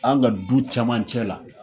An ka du caman cɛ la